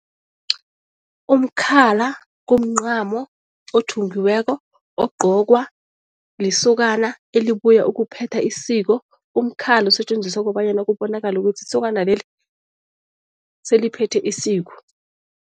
Umkhala kumncamo othungiweko ogqokwa lisokana elibuya ukuphetha isiko. Umkhala usetjenziswa kobanyana kubonakale ukuthi isokana leli seliphethe isiko.